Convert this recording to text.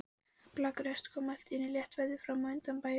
Blakkur hestur kom allt í einu léttfættur fram undan bæjarhúsunum.